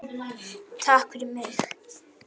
Takk fyrir mig.